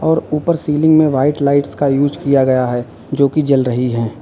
और ऊपर सीलिंग में व्हाइट लाइट का यूज किया गया है जो कि जल रही है।